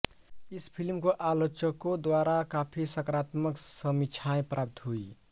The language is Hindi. इस फ़िल्म को आलोचकों द्वारा काफी सकारात्मक समीक्षाएं प्राप्त हुई